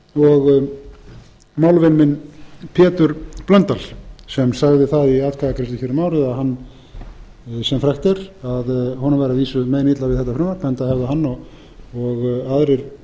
og málvin minn pétur blöndal sem sagði það í atkvæðagreiðslu hér um árið sem frægt er að honum væri að vísu meinilla við þetta frumvarp enda hefði hann og aðrir